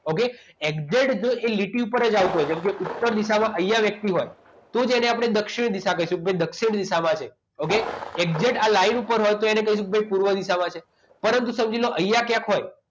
okay exact જો એ લીટી ઉપર જ આવતો હોય કેમકે ઉત્તર દિશામાં અહીંયા વ્યક્તિ હોય તો તેને આપણે દક્ષિણ દિશા કહીશું કે દક્ષિણ દિશામાં છે okay આ લાઇન ઉપર હોય તો એને કહીએ કે પૂર્વ દિશામાં છે પરંતુ સમજી લો અહીંયા ક્યાંક હોય